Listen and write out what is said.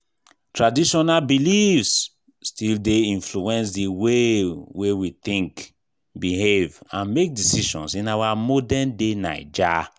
Traditional beliefs still dey influence the way wey we think, behave and make decisions in our modern-day Naija.